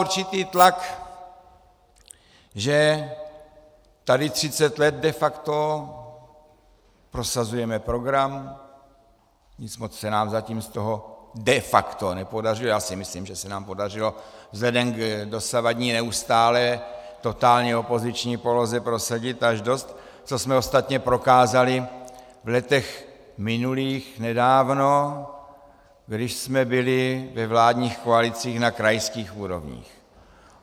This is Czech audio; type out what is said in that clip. Určitý tlak, že tady 30 let de facto prosazujeme program, nic moc se nám zatím z toho de facto nepodařilo, já si myslím, že se nám podařilo vzhledem k dosavadní neustálé totálně opoziční poloze prosadit až dost, což jsme ostatně prokázali v letech minulých nedávno, když jsme byli ve vládních koalicích na krajských úrovních.